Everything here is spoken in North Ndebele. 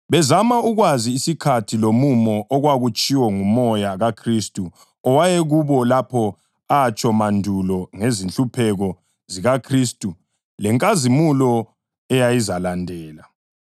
bezama ukwazi isikhathi lomumo okwakutshiwo nguMoya kaKhristu owayekubo lapho atsho mandulo ngezinhlupheko zikaKhristu lenkazimulo eyayizalandela.